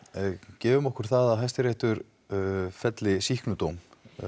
gefum okkur að Hæstiréttur felli sýknudóm